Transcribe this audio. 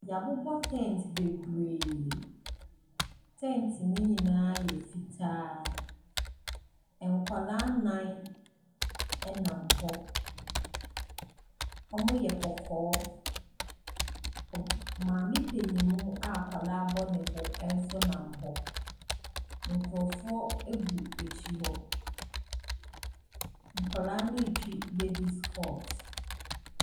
Wɔabobɔ tent bebree. Tent no nyinaa yɛ fitaa. Nkwadaa nnan nam hɔ. Wɔyɛ kɔkɔɔ. Ob maame panin mu bi a akwadaa bɔ ne bo nso nam hɔ. Nkurɔfoɔ gu akyire hɔ. Nkwadaa no retwi babies court.